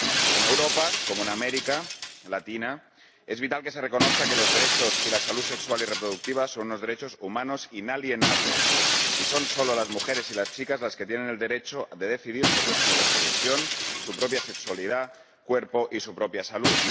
En Europa, como en América Latina, es vital que se reconozca que los derechos y la salud sexual y reproductiva son unos derechos humanos inalienables, y son solo las mujeres y las chicas las que tienen el derecho de decidir sobre su reproducción, su propia sexualidad, su cuerpo y su propia salud.